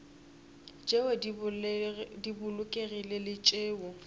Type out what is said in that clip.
tšeo di bolokegilego le tšeo